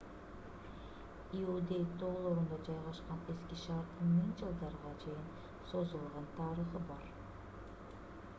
иудей тоолорунда жайгашкан эски шаардын миң жылдарга чейин созулган тарыхы бар